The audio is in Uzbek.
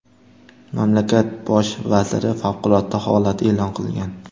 Mamlakat bosh vaziri favqulodda holat e’lon qilgan.